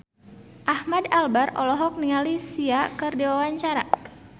Ahmad Albar olohok ningali Sia keur diwawancara